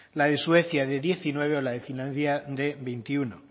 la de suecia de diecinueve o la de finlandia de veintiuno